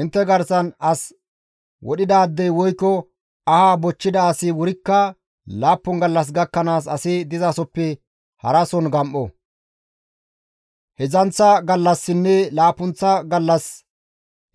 «Intte garsan as wodhidaadey woykko aha bochchida asi wurikka laappun gallas gakkanaas asi dizasoppe harason gam7o; heedzdzanththa gallassinne laappunththa gallas